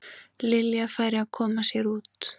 Lilja færi að koma sér út.